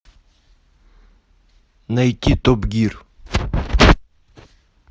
найти топ гир